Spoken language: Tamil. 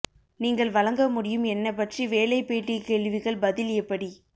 நீங்கள் வழங்க முடியும் என்ன பற்றி வேலை பேட்டி கேள்விகள் பதில் எப்படி